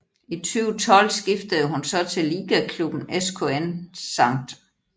I 2012 skiftede hun så til ligaklubben SKN St